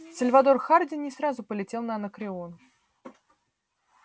сальвадор хардин не сразу полетел на анакреон